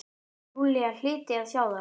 Júlía hlyti að sjá það.